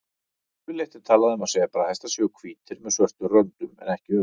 Yfirleitt er talað um að sebrahestar séu hvítir með svörtum röndum en ekki öfugt.